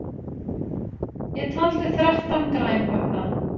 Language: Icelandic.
Ég taldi þrettán grænhöfða.